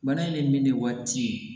Bana in ne waati